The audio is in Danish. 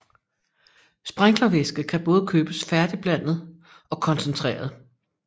Sprinklervæske kan både købes færdigblandet og koncentreret